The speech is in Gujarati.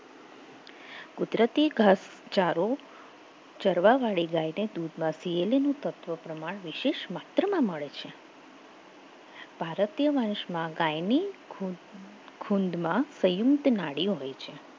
કુદરતી ઘાસચારો ચડવા વાળી ગાયને દૂધમાંથી તત્વ વિશેષ વાત માત્રમાં મળે છે ભારતીય વંશમાં ગાયની કુંડમાં નાડીઓ હોય છે